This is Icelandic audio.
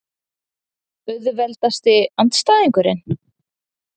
Auðveldasti andstæðingur?